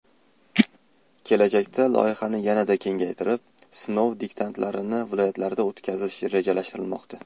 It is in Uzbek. Kelajakda loyihani yanada kengaytirib, sinov diktantlarini viloyatlarda o‘tkazish rejalashtirilmoqda.